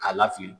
K'a la fili